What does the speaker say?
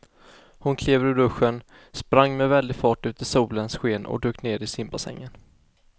Hon klev ur duschen, sprang med väldig fart ut i solens sken och dök ner i simbassängen.